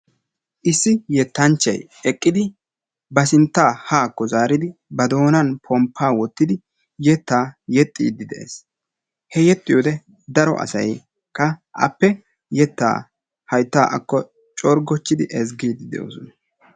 Issi yettanchchay eqqidi ba sintta haakko zaaridi ba doonan pomppa wottidi yetta yeexxide de'ees. He yeexxiyoode daro asaykka appe yettaa haytta akko zaaridi coorigochchidi ezggide de'oosona.